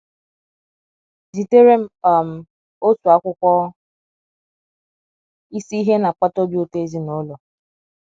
Zitere m um otu akwụkwọ Isi Ihe Na - akpata Obi Ụtọ Ezinụlọ.